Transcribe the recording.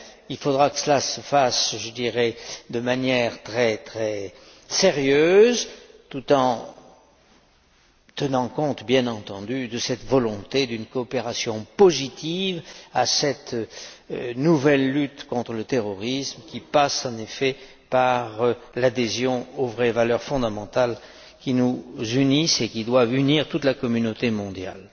Il faudra que cela se fasse de manière très, très sérieuse, tout en tenant compte bien entendu de cette volonté d'une coopération positive à cette nouvelle lutte contre le terrorisme, qui passe en effet par l'adhésion aux vraies valeurs fondamentales qui nous unissent et qui doivent unir toute la communauté mondiale.